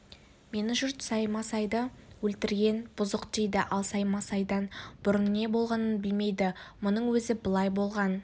мені жұрт саймасайды өлтірген бұзық дейді ал саймасайдан бұрын не болғанын білмейді мұның өзі былай болған